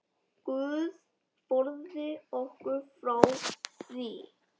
Guð forði okkur frá því.